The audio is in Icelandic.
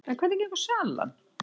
En hvernig gengur salan?